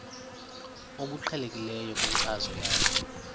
obuqhelekileyo kwinkcazo yakho